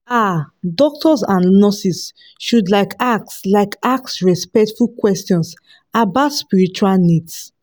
ah doctors and nurses should like ask like ask respectful questions about spiritual needs